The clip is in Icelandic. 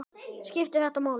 Skiptir þetta máli??